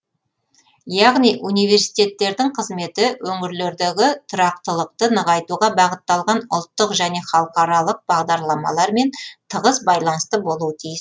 яғни университеттердің қызметі өңірлердегі тұрақтылықты нығайтуға бағытталған ұлттық және халықаралық бағдарламалармен тығыз байланысты болуы тиіс